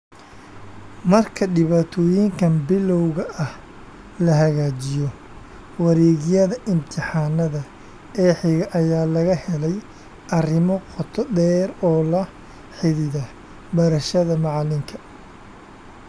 Marka dhibaatooyinkan bilowga ah la hagaajiyo, wareegyada imtixaanada ee xiga ayaa laga helay arrimo qoto dheer oo la xidhiidha barashada macalinka.